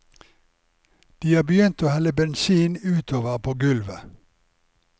De har begynt å helle bensin utover på gulvet.